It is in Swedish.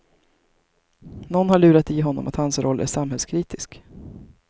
Någon har lurat i honom att hans roll är samhällskritisk.